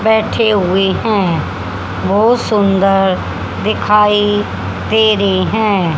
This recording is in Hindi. बैठे हुए है बहुत सुंदर दिखाई दे रे है।